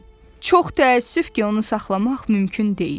Çox təəssüf ki, onu saxlamaq mümkün deyil.